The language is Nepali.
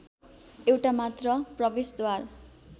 एउटा मात्र प्रवेशद्वार